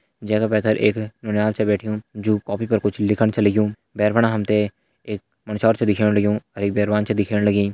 जै के पैथर एक नौनियाल छ बैठ्युं जु कोफ़ी पर कुछ लिखण छ लग्युं भैर फणा हम तें एक मुंडस्यारू छा दिखेण लग्युं और एक बैरवान छा दिखेण लगीं।